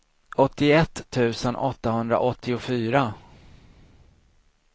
åttioett tusen åttahundraåttiofyra